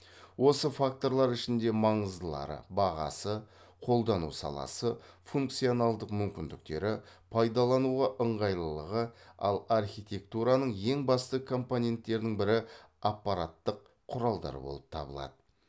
осы факторлар ішінде маңыздылары бағасы қолдану саласы функционалдық мүмкіндіктері пайдалануға ыңғайлылығы ал архитектураның ең басты компоненттерінің бірі аппараттық құралдар болып табылады